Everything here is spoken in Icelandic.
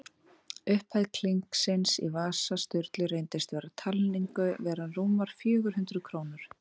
Upphæð klinksins í vasa Sturlu reyndist við talningu vera rúmar fjögur hundruð krónur.